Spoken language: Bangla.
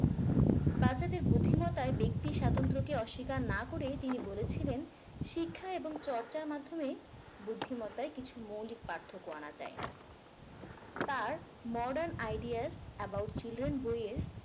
বাচ্চাদের বুদ্ধিমত্তায় ব্যক্তি স্বাতন্ত্রকে অস্বীকার না করে তিনি বলেছিলেন শিক্ষা এবং চর্চার মাধ্যমে বুদ্ধিমত্তায় কিছু মৌলিক পার্থক্য আনা যায় তার modern ideas about children বইয়ে